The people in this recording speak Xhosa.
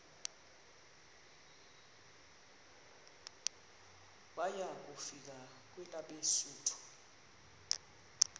waya kufika kwelabesuthu